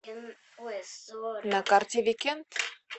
на карте викенд